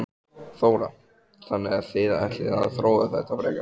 Þóra: Þannig að þið ætlið að þróa þetta frekar?